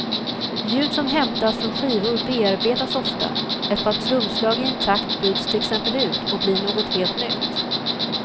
Ljud som hämtas från skivor bearbetas ofta, ett par trumslag i en takt byts till exempel ut och blir något helt nytt.